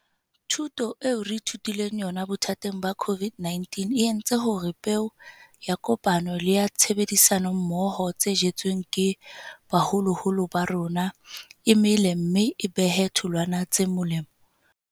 Thuto eo re ithutileng yona bothateng ba COVID-19 e entse hore peo ya kopano le ya tshebedisano mmoho tse jetsweng ke baholoholo ba rona e mele mme e behe tholwana tse molemo.